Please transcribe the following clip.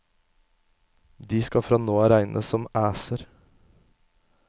De skal fra nå av regnes som æser.